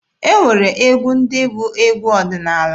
E nwere egwu ndị bụ egwu ọdịnaala.